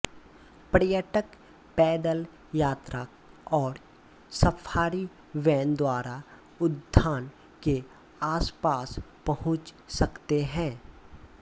पर्यटक पैदल यात्रा और सफारी वैन द्वारा उद्यान के आसपास पहुंच सकते हैं